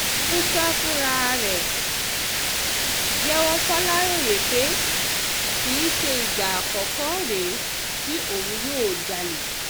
músà fúnra ẹ̀ jẹ́wọ́ faláròyé pé kì í ṣe ìgbà àkọ́kọ́ rè é tí òun yóò jalè